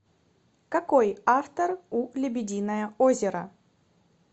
какой автор у лебединое озеро